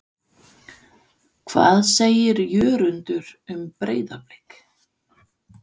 Hvað segir Jörundur um Breiðablik?